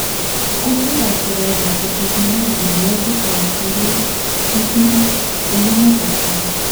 Kutik ab corona ko chekinam en wodit ab karintin en emet ab Kenya